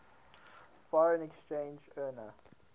foreign exchange earner